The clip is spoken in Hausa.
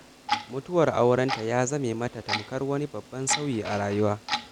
Mutuwar aurenta ya zame mata tamkar wani babban sauyi a rayuwa